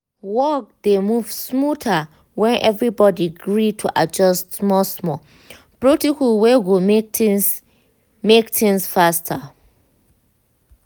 work dey move smoother when everybody gree to adjust small-small protocol wey go make things make things faster.